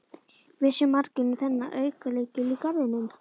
Vissu margir um þennan aukalykil í garðinum?